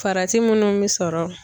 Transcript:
Farati minnu bɛ sɔrɔ.